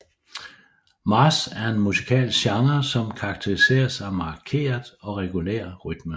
March er en musikalsk genre som karakteriseres af markeret og regulær rytme